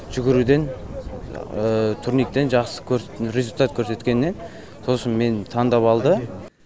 жүгіруден турниктен жақсы результат көрсеткеннен сосын мені таңдап алды